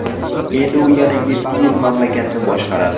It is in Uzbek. Endi u yana yetti yil mamlakatni boshqaradi.